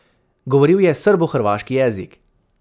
Govoril je srbohrvaški jezik.